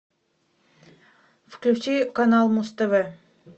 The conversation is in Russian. включи канал муз тв